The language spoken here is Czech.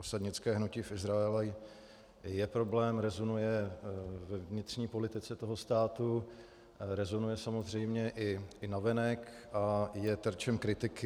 Osadnické hnutí v Izraeli je problém, rezonuje ve vnitřní politice toho státu, rezonuje samozřejmě i navenek a je terčem kritiky.